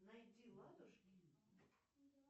найди ладушки